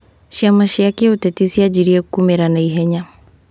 Ciama cia kĩũteti cianjirie kũmĩra naihenya.